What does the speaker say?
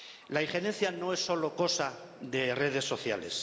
La injerencia no es solo cosa de redes sociales.